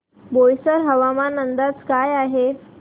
बोईसर हवामान अंदाज काय आहे